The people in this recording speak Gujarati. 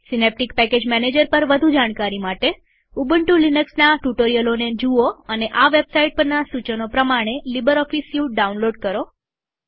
સીનેપટીક પેકેજ મેનેજર પર વધુ જાણકારી માટે ઉબુન્ટુ લિનક્સના ટ્યુટોરીયલોને જુઓ અને આ વેબસાઇટ પરના સૂચનો પ્રમાણે લીબરઓફીસ સ્યુટ ડાઉનલોડ કરો